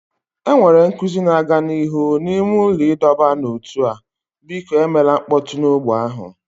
Enwere nkuzi na-aga n'ihu n'ime ụlọ ịdọba n'ótú a, biko emela mkpọtụ na ogbè ahụ